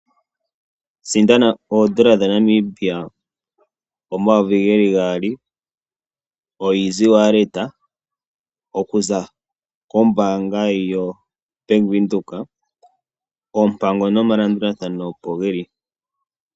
Sindana ooN$ 2000 pamukalo gokutuma oshimaliwa nongodhi goBank Windhoek. Oompango nomalandulathano opo ge li.